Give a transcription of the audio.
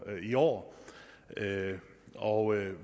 i år og